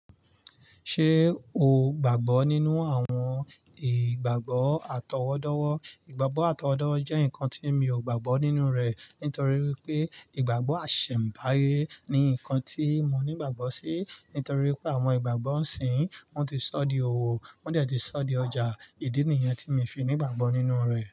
Ṣé o gbàgbọ́ nínú àwọn ìgbàgbọ́ àtọwọ́dọ́wọ́? Ìgbàgbọ́ àtọwọ́dọ́ jẹ́ nǹkan tí mi ò gbàgbọ́ nínú rẹ̀ nítorí pé ìgbàgbọ́ àṣẹ̀m̀báye ni nǹkan tí mo nígbàgbọ́ sí, nítorí pé àwọn ìgbàgbọ́ isinyi wọn ti sọ di òwò, wọ́n dẹ̀ ti sọ di ọjà. Ìdí nìyẹn tí mi fi nígbàgbọ́ nínú rẹ̀.